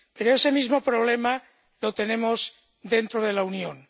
Pero ese mismo problema lo tenemos dentro de la Unión.